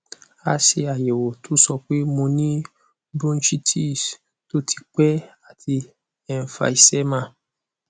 a ṣe ayẹwo to sọ pé mo ní bronchitis tó ti pẹ́ àti emphysema